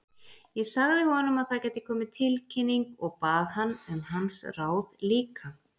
Ég sagði honum að það gæti komið tilkynning, og bað hann um hans ráð líka.